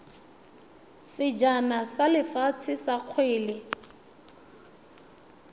sejana sa lefatshe sa kgwele